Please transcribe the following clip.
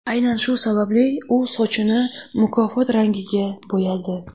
Aynan shu sababli u sochini mukofot rangiga bo‘yadi.